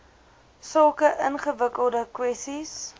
sulke ingewikkelde kwessies